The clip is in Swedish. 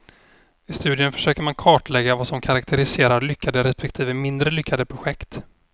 I studien försöker man kartlägga vad som karaktäriserar lyckade respektive mindre lyckade projekt.